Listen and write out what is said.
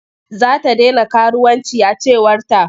Za ta dena karuwanci a cewarta.